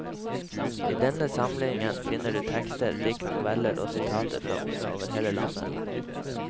I denne samlingen finner du tekster, dikt, noveller og sitater fra unge over hele landet.